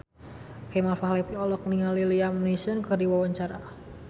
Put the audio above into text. Kemal Palevi olohok ningali Liam Neeson keur diwawancara